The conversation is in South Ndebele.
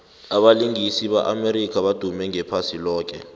abalingisi be amerika badume iphasi loke